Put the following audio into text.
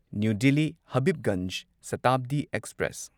new Delhi Habibganj Shatabdi express